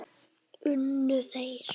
Unnu þeir?